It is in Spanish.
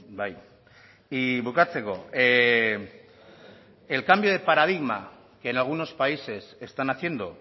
bai y bukatzeko el cambio de paradigma que en algunos países están haciendo